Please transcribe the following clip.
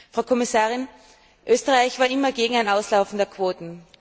Frau Kommissarin, Österreich war immer gegen ein Auslaufen der Quoten.